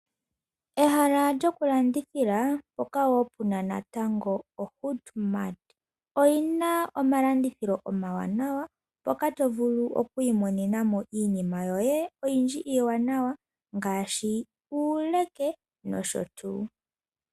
Ehala lyokulandithila mpoka wo pu na natango oHoodMart. Oyi na omalandithilo omawanawa, mpoka to vulu oku imonena mo iinima yoye oyindji iiwanawa ngaashi uuleke nosho tuu.